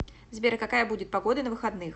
сбер какая будет погода на выходных